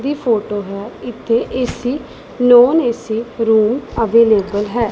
ਦੀ photo ਹੈ ਇੱਥੇ AC non AC room available ਹੈ।